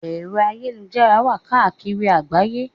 Ẹ̀rọ ayélujára wà káàkiri àgbáyé.